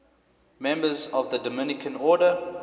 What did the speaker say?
members of the dominican order